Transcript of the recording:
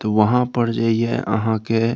तो वहाँ पर जईहे अहां के --